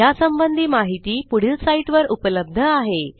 यासंबंधी माहिती पुढील साईटवर उपलब्ध आहे